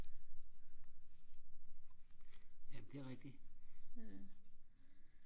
jamen det er rigtigt